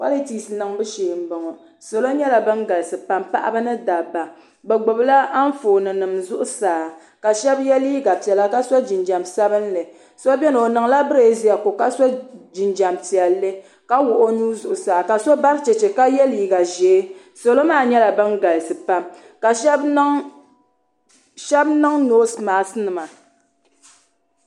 polotis niŋbu shee n bɔŋɔ salo nyɛla bin galisi pam paɣaba ni dabba bi gbubila Anfooni nim zuɣusaa ka shab yɛ liiga piɛla ka so jinjɛm sabinli so biɛni o niŋla birɛziya ko ka so jinjɛm piɛlli ka wuhi o nuu ka so bari chɛchɛ ka yɛ liiga ʒiɛ salo maa nyɛla bin galisi pam ka shab niŋ noos mask nima